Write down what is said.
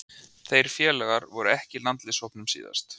Þeir félagar voru ekki í landsliðshópnum síðast.